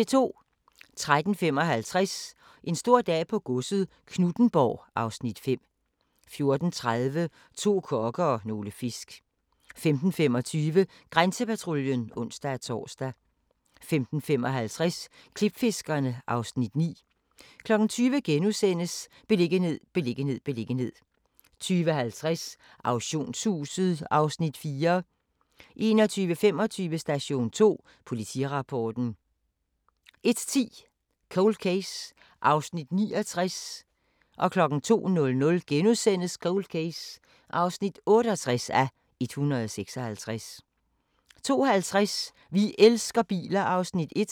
13:55: En stor dag på godset - Knuthenborg (Afs. 5) 14:30: To kokke og nogle fisk 15:25: Grænsepatruljen (ons-tor) 15:55: Klipfiskerne (Afs. 9) 20:00: Beliggenhed, beliggenhed, beliggenhed * 20:50: Auktionshuset (Afs. 4) 21:25: Station 2: Politirapporten 01:10: Cold Case (69:156) 02:00: Cold Case (68:156)* 02:50: Vi elsker biler (Afs. 1)